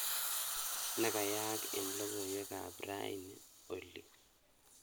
Ne keyaak eng logoywekab raini oli